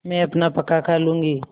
मैं अपना पकाखा लूँगी